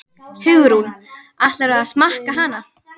Hugrún: Ætlarðu að smakka hana?